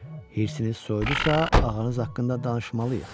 Hirsiniz soyudusa, ağanız haqqında danışmalıyıq.